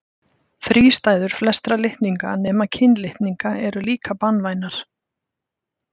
Þrístæður flestra litninga nema kynlitninga eru líka banvænar.